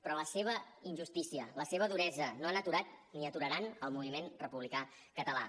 però la seva injustícia la seva duresa no han aturat ni aturaran el moviment republicà català